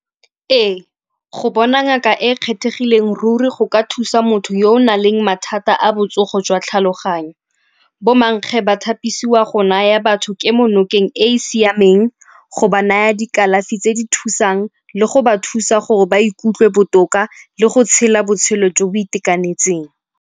Ee, go bona ngaka e kgethegileng ruri go ka thusa motho yo o na leng mathata a botsogo jwa tlhaloganyo. Bomankge bathapisiwa go naya batho kemo nokeng e e siameng, go ba naya dikalafi tse di thusang le go ba thusa gore ba ikutlwe botoka le go tshela botshelo jo bo itekanetseng.